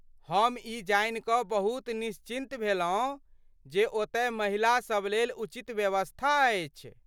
हम ई जानि कऽ बहुत निश्चिन्त भेलहुँ जे ओतय महिलासभ लेल उचित व्यवस्था अछि।